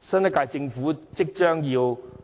新一屆政府即將